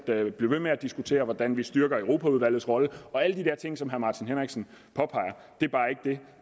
blive ved med at diskutere hvordan vi styrker europaudvalgets rolle alle de der ting som herre martin henriksen påpeger det